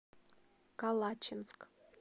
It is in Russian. калачинск